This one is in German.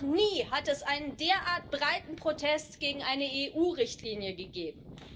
Noch nie hat es einen derart breiten Protest gegen eine EU Richtlinie gegeben.